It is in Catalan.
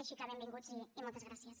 així que benvinguts i moltes gràcies